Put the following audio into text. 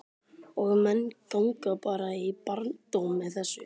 Og menn ganga bara í barndóm með þessu?